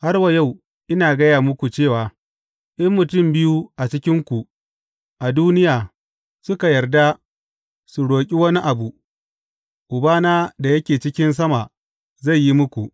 Har wa yau, ina gaya muku cewa in mutum biyu a cikinku a duniya suka yarda su roƙi wani abu, Ubana da yake cikin sama zai yi muku.